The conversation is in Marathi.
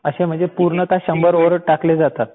असे म्हणजे पूर्णतः शंभर ओव्हर टाकले जातात.